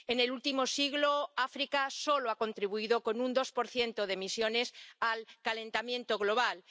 En el último siglo, África solo ha contribuido con un 2 de emisiones al calentamiento global.